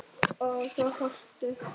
Og svo fórstu.